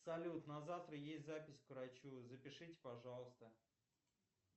салют на завтра есть запись к врачу запишите пожалуйста